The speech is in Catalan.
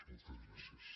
moltes gràcies